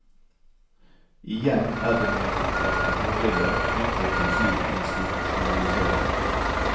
Igjen er det noen opplagte fordeler knyttet til slik institusjonalisering.